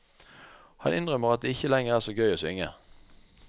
Han innrømmer at det ikke lenger er så gøy å synge.